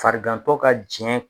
Farigantɔ ka jɛn